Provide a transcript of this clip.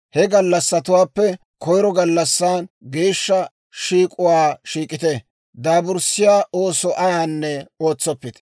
He gallassatuwaappe koyiro gallassan geeshsha shiik'uwaa shiik'ite; daaburssiyaa ooso ayaanne ootsoppite.